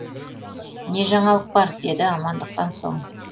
не жаңалық бар деді амандықтан соң